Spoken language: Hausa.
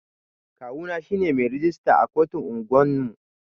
Kawu na shine mai rijista a kotun unguwan mu.